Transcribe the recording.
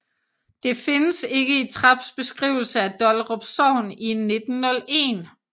Det findes ikke i Traps beskrivelse af Dollerup Sogn i 1901